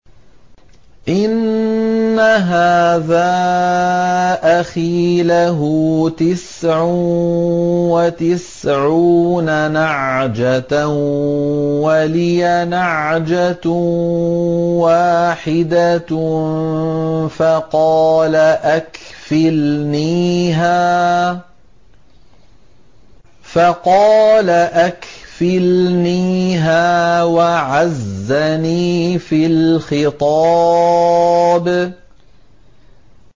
إِنَّ هَٰذَا أَخِي لَهُ تِسْعٌ وَتِسْعُونَ نَعْجَةً وَلِيَ نَعْجَةٌ وَاحِدَةٌ فَقَالَ أَكْفِلْنِيهَا وَعَزَّنِي فِي الْخِطَابِ